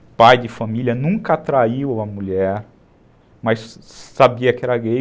O pai de família nunca traiu a mulher, mas sabia que era gay.